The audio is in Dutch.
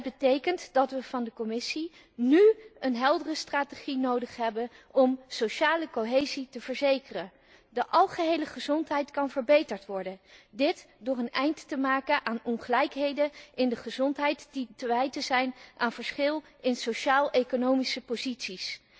Het betekent dat wij van de Commissie nu een heldere strategie nodig hebben om sociale cohesie te verzekeren. De algehele gezondheid kan verbeterd worden, dit door een eind te maken aan ongelijkheden in de gezondheid die te wijten zijn aan verschil in sociaal economische posities.